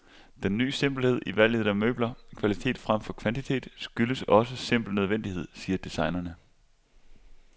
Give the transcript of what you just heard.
Den ny simpelhed i valget af møbler, kvalitet fremfor kvantitet, skyldes også simpel nødvendighed, siger designerne.